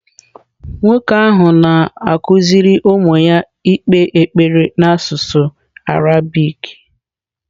Nwoke ahụ na-akụziri ụmụ ya ikpe ekpere n’asụsụ Arabik.